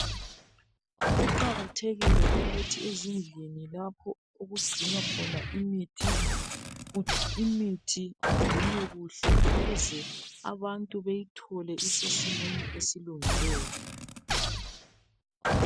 Kuqakathekile ukuthi ezindlini lapho okucginwa khona imithi , imithi icginwe kuhle ukuze abantu beyithole isesimweni esilungileyo